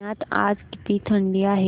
पुण्यात आज किती थंडी आहे